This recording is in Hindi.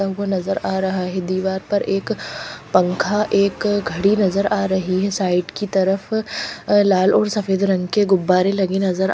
हमको नजर आ रहा है दीवार पर एक पंखा एक घड़ी नजर आ रही है साइड की तरफ लाल और सफेद रंग के गुब्बारे लगे नजर--